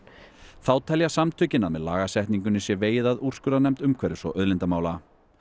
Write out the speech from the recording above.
þá telja samtökin að með lagasetningunni sé vegið að úrskurðarnefnd umhverfis og auðlindamála